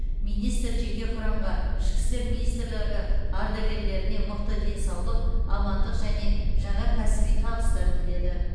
министр жеке құрамға ішкі істер министрлігі ардагерлеріне мықты денсаулық амандық және жаңа кәсіби табыстар тіледі